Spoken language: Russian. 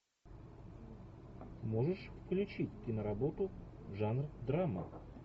можешь включить киноработу жанр драма